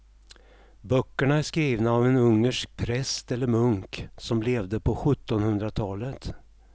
Böckerna är skrivna av en ungersk präst eller munk som levde på sjuttonhundratalet.